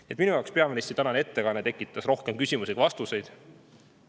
Nii et minu jaoks tekitas peaministri tänane ettekanne rohkem küsimusi kui vastuseid.